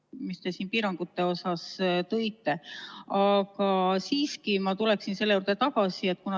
]... mis te siin piirangute osas tõite, aga siiski ma tuleksin selle juurde tagasi.